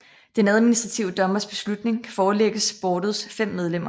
Den administrative dommers beslutning kan forelægges boardets fem medlemmer